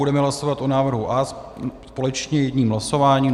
Budeme hlasovat o návrhu A společně jedním hlasováním.